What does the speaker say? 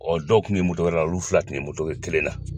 dɔw kun be wɛrɛ la olu fila kun bɛ kelen na